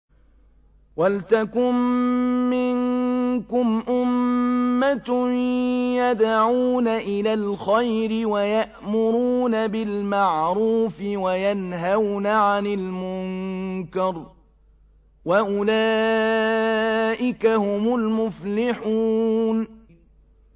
وَلْتَكُن مِّنكُمْ أُمَّةٌ يَدْعُونَ إِلَى الْخَيْرِ وَيَأْمُرُونَ بِالْمَعْرُوفِ وَيَنْهَوْنَ عَنِ الْمُنكَرِ ۚ وَأُولَٰئِكَ هُمُ الْمُفْلِحُونَ